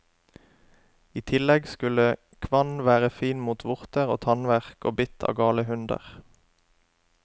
I tillegg skulle kvann være fin mot vorter og tannverk, og bitt av gale hunder.